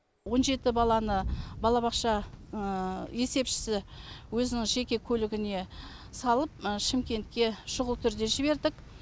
он жеті баланы балабақша есепшісі өзінің жеке көлігіне салып шымкентке шұғыл түрде жібердік